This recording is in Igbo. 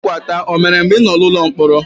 Kwarikwata o mere mgbe ị nọ n'ụlọ mkpọrọ?